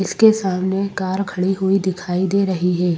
इसके सामने कार खड़ी हुई दिखाई दे रही है।